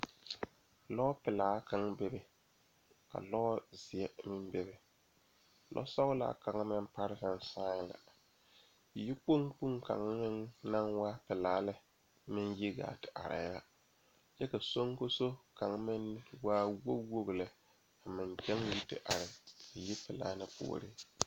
Dɔɔba bayi ane pɔgeba bayi la a laŋ zeŋ a dɔɔ kaŋ naŋ seɛ traza pelaa pegle la gane o nu poɔ ane magdalee a pɔge kaŋa meŋ zeŋ la koo niŋe soga ba saa kyɛ kaa dɔɔ kaŋa ane a pɔge kaŋa gyan yizeŋ yipelaa na puori.